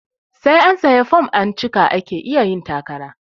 Sai an sayi fom an cika ake iya yin takara